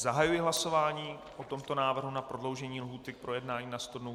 Zahajuji hlasování o tomto návrhu na prodloužení lhůty k projednání na sto dnů.